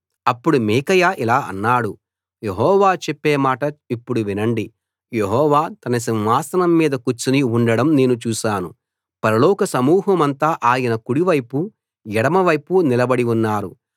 అప్పుడు మీకాయా ఇలా అన్నాడు యెహోవా చెప్పే మాట ఇప్పుడు వినండి యెహోవా తన సింహాసనం మీద కూర్చుని ఉండడం నేను చూశాను పరలోక సమూహమంతా ఆయన కుడి వైపు ఎడమ వైపు నిలబడి ఉన్నారు